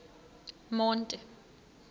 monti